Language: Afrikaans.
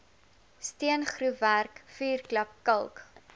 steengroefwerk vuurklap kalk